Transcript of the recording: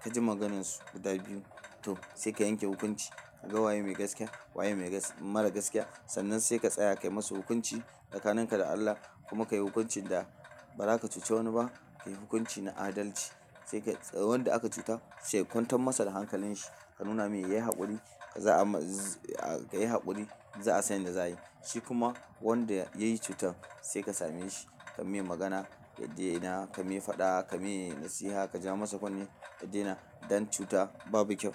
kaji maganan su guda biyu to, sai ka yanke hukunci kaga waye mai gaskiya waye mara gaskiya sannan sai ka tsaya kai masu hukunci tsakanin ka da Allah kuma kai hukuncin da ba zaka cuci wani ba. Ka yi hukunci na adalci. Sai ka tsayi wan da aka cuta sai ka kwantar masa da hankalinshi ka nuna mai yayi haƙuri za'a ma kayi haƙuri za'a san yan da da za'ayi. Shi kuma wanda yayi cutar sai ka same shi ka mai magana, ya dena, ka mai faɗa, ka mai nasiha, ka ja masa kunne, ya dena dan cuta babu kyau.